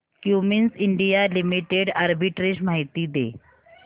Cummins India limited arbitrage माहिती दे